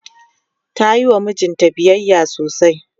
tayiwa mijinta biyayya sosai